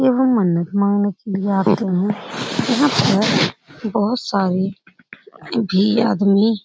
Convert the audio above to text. एवं मन्नत मागने के लिए आते है यहाँ पर बहोत सारे भी आदमी --